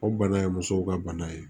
O bana ye musow ka bana ye